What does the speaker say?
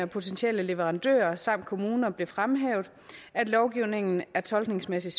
potentielle leverandører samt kommuner blev fremhævet at lovgivningen tolkningsmæssigt